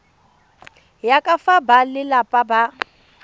ya ka fa balelapa ba